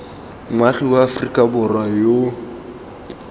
moagi wa aforika borwa yo